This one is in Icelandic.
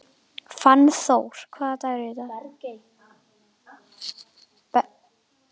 Fannþór, hvaða dagur er í dag?